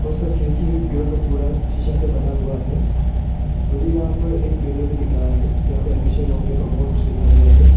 और इसका खिड़की भी पूरा का पूरा शीशा से बना हुआ है मुझे यहां पर एक मिरर भी दिख रहा है यहां पे एडमिशन ओपन और बहुत कुछ लिखा गया है।